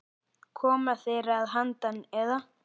Koma þeir að handan, eða?